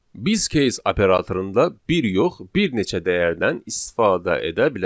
Biz case operatorunda bir yox, bir neçə dəyərdən istifadə edə bilərik.